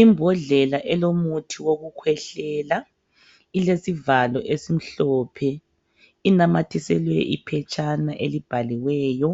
Imbodlela elomuthi wokukhwehlela, ilesivalo esimhlophe, inamathiselwe iphetshana elibhaliweyo